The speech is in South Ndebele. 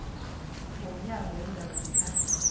yomnyango weendaba zekhaya